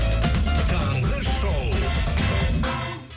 таңғы шоу